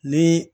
Ni